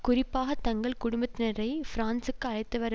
குறிப்பாக தங்கள் குடும்பத்தினரை பிரான்சுக்கு அழைத்து வர